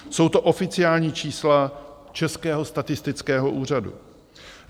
Jsou to oficiální čísla Českého statistického úřadu.